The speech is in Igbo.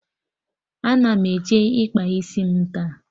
Ana m eje ịkpa isi m taa